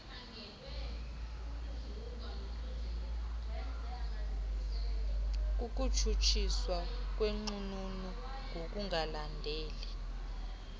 kukutshutshiswa kwenqununu ngokungalandeli